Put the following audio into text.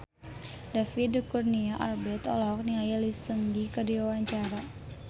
David Kurnia Albert olohok ningali Lee Seung Gi keur diwawancara